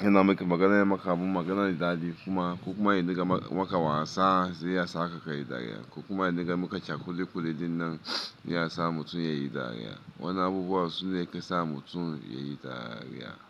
yana miki magana ya maka abu magana daɗi kuma, ko kuma ya dinga maka wasa sai ya sa ka ka yi dariya, ko kuma ya dinga maka Cs kulikuli dinnan ya sa mutum ya yi dariya. Wannan abubuwa sune yake sa mutum ya yi dariya.